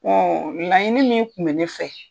laɲini min kun bɛ ne fɛ.